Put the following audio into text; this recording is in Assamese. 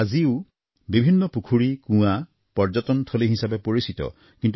আজিও বিভিন্ন পুখুৰী কুঁৱা পৰ্যটনথলী হিচাপে পৰিচিত